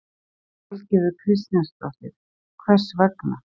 Valgerður Kristjánsdóttir: Hvers vegna?